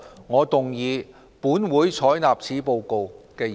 我動議"本會採納此報告"的議案。